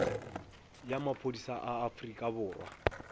ya maphodisa a afrika borwa